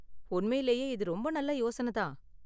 உண்மையிலேயே இது ரொம்ப நல்ல யோசனை தான்